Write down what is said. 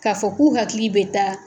K'a fɔ k'u hakili bɛ taa.